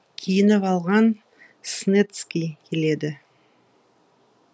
киініп алған снецкий келеді